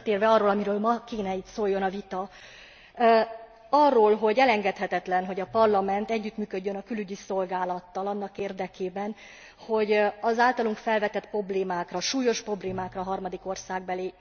De visszatérve arra, amiről ma kellene itt szóljon a vita arról, hogy elengedhetetlen, hogy a Parlament együttműködjön a Külügyi Szolgálattal annak érdekében, hogy az általunk felvetett problémákra, súlyos problémákra a harmadik országbeli